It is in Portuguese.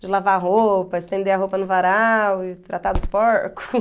de lavar roupa, estender a roupa no varal e tratar dos